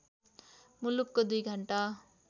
मुलुकको २ घण्टा